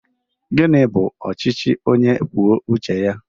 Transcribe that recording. Gịnị bụ ọchịchị onye kwuo uche ya?